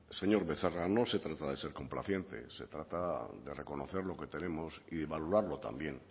señor becerra no se trata de ser complaciente se trata de reconocer lo que tenemos y valorarlo también